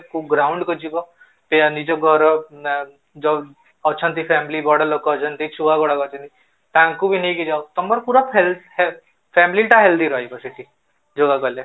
କୋଉ ground କୁ ଯିବ ୟା ନିଜ ଘର ନା ଅଛନ୍ତି family ବଡ଼ ଲୋକ ଅଛନ୍ତି ଛୁଆ ଗୁଡା ଅଛନ୍ତି ତାଙ୍କୁ ବି ନେଇକି ଯାଅ ତମର ପୁରା family ଟା healthy ରହିବ ସେଠି yoga କଲେ